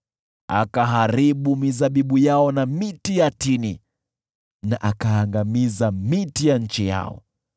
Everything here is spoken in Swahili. akaharibu mizabibu yao na miti ya tini, na akaangamiza miti ya nchi yao.